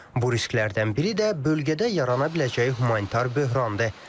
Bu risklərdən biri də bölgədə yarana biləcəyi humanitar böhrandır.